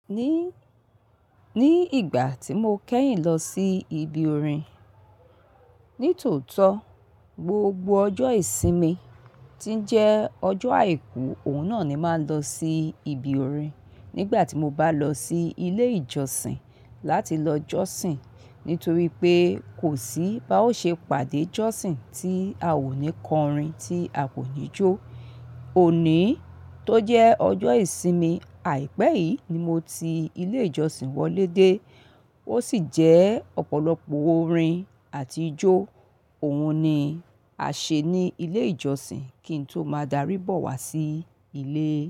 Ní, ní ìgbà tí mo kẹ́yìn lọ sí ibi orin, nítòótó gbogbo ọjọ́ ìsinmi tí jẹ́ ọjọ́ àìkú, òun náà ni máa ń lọ sí ibi orin. Nígbà tí mo bá lọ sí ilé ìjọsìn láti lọ jọ́sìn nítorí pé kò sí bá ó ṣe pàdé jọ́sìn tí a ò ní kọ orin tí a kò kií jó. Òní tó jẹ́ ọjọ́ ìsinmi àìpẹ́ yìí ni mo ti ilé ìjọsìn wọlé dé, ó sì jẹ́ ọ̀pọ̀lọpọ̀ orin àti ijó òun ni a ṣe ní ilé ìjọsìn kí n tó máa darí bọ̀ wá sí ilé.